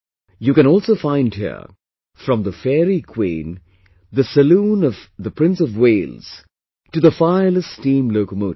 You can also find here, from the Fairy Queen, the Saloon of Prince of Wales to the Fireless Steam Locomotive